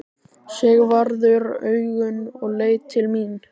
Sigvarður augun og leit til mín.